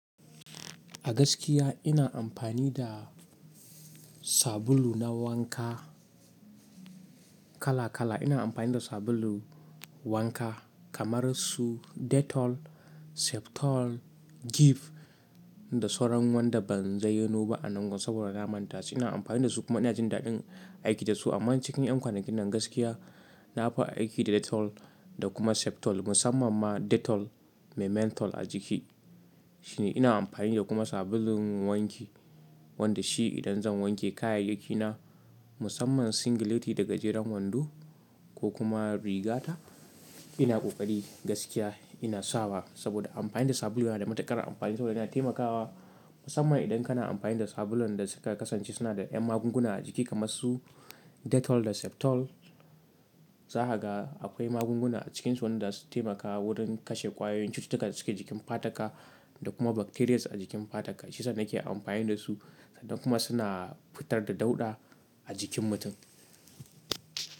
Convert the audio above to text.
A gaskiya ina amfani da sabulu na wanka kala kala. Ina amfani da sabulu wanka kamar su Dettol, Septol, Giv da sauran wanda ban zayyano ba a nan gun saboda na manta shi. Ina amfani da su manya jin daɗin aiki da su amma cikin ƴan kwanakin nan gaskiya nafi aiki da Dettol da kuma Septol musamman ma Dettol mai mentol a jiki. Shine ina amfani da kuma sabulun wanki wanda shi idan zan wanke kayayyaki na musamman singileti da gajeren wando ko kuma riga ta, ina ƙoƙari gaskiya ina sawa saboda amfani da sabulu yana da matuƙar amfani saboda yana taimakawa musamman idan kana amfani da sabulun da suka kasance suna da ƴan magunguna a jiki kamar su Dettol da Septol. Zaka ga akwai magunguna a cikinsu wanda suke taimakawa wurin kashe ƙwayoyin cutuka da suke jikin fataka da kuma bacterias a jikin fataka. Shiyasa nake amfani da su sannan kuma suna fitar da dauɗa a jikin mutum.